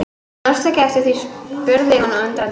Mannstu ekki eftir því spurði hún undrandi.